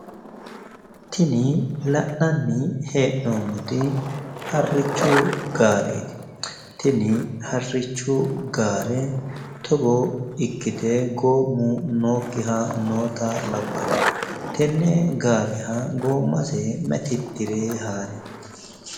Tini la'nanni hee'noommoti harrichu gaareeti. tini harrichu gaare togo ikkite goommu nookkiha labbanno. tenne gaareha goommase mayi tittire haarino?